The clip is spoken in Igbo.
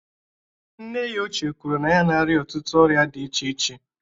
Nne ya ochie kwuru na ya na-arịa ọtụtụ ọrịa dị iche iche